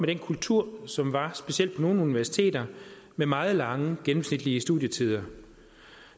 den kultur som var specielt på nogle universiteter med meget lange gennemsnitlige studietider